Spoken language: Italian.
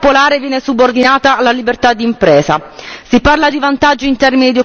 Si parla di vantaggi in termini di occupazione, ma di quali vantaggi parliamo?